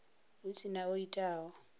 hu si na o itaho